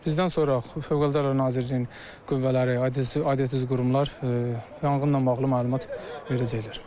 Bizdən sonra Fövqəladə Hallar Nazirliyinin qüvvələri, aidiyyatı üzrə qurumlar yanğınla bağlı məlumat verəcək.